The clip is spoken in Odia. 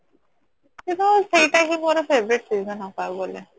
ସେଇଟା ହିଁ ମୋର favourite season ଆଉ କହିବାକୁ ଗଲେ